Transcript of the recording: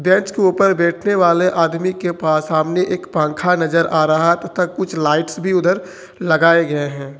Bench के ऊपर बैठने वाले आदमी के पास सामने एक पखा नजर आ रहा तथा कुछ लाइट्स भी उधर लगाए गए है।